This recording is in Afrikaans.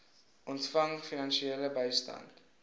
ontvang finansiële bystand